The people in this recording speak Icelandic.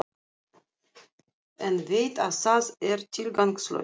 En veit að það er tilgangslaust.